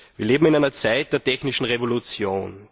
Wir leben in einer Zeit der technischen Revolution.